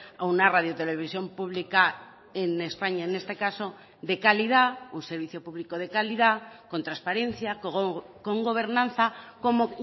a una radio televisión pública en españa en este caso de calidad un servicio público de calidad con transparencia con gobernanza como